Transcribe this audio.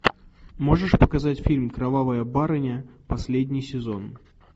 можешь показать фильм кровавая барыня последний сезон